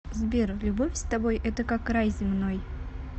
сбер любовь с тобой это как рай земной